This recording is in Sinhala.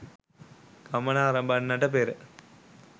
ගමන අරඹන්නට පෙර